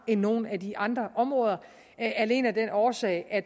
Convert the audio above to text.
end nogle af de andre områder alene af den årsag at